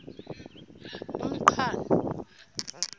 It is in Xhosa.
umqhano